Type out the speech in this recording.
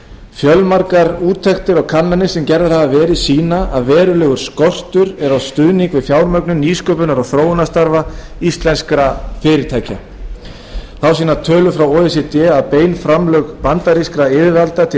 fjölmargar úttektir á sem gerðar hafa verið sýna að verulegur skortur er á stuðningi við fjármögnun nýsköpunar og þróunarstarfa íslenskra fyrirtækja þá sýna tölur frá o e c d að bein framlög bandarískra yfirvalda til rannsókna